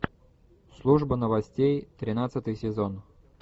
служба новостей тринадцатый сезон